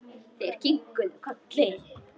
Þær kinkuðu kolli.